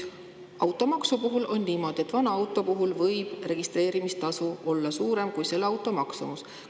Automaksu puhul on niimoodi, et vana auto puhul võib registreerimistasu olla suurem kui selle auto maksumus.